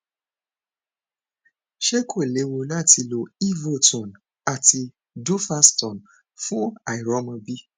ṣé kò lewu lati lo evotone àti duphaston fun àìrọmọbi